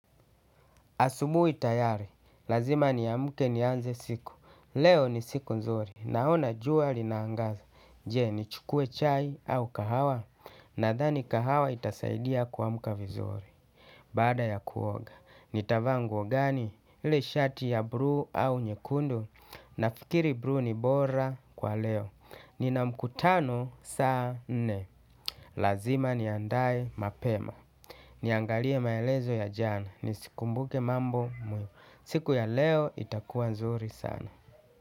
Asubuhi tayari. Lazima niamke nianze siku. Leo ni siku nzuri. Naona jua linaangaza. Je, nichukue chai au kahawa? Nadhani kahawa itasaidia kuamka vizuri. Baada ya kuoga, nitavaa nguo gani? Yule shati wa bluu au nyekundu? Nafikiri bluu ni bora kwa leo. Nina mkutano saa nne. Lazima niandae mapema. Niangalie maelezo ya jana nizikumbuke mambo muhimu. Siku ya leo itakuwa nzuri sana.